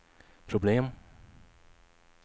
problem